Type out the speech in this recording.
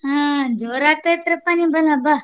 ಹಾ ಜೋರ್ ಆಗ್ತೇತ್ರಪ್ಪಾ ನಿಮ್ಮಲ್ಲಿ ಹಬ್ಬ.